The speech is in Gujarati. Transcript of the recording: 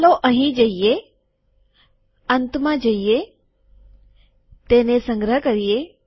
ચાલો અહીં જઈએ અંતમાં જઈએ તેને સંગ્રહ કરીએ